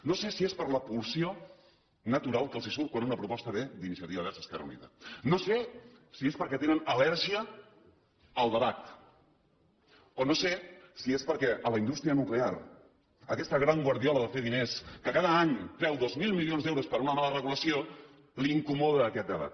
no sé si és per la pulsió natural que els surt quan una proposta ve d’iniciativa verds esquerra unida no sé si és perquè tenen al·lèrgia al debat o no sé si és perquè a la indústria nuclear aquesta gran guardiola de fer diners que cada any treu dos mil milions d’euros per una mala regulació li incomoda aquest debat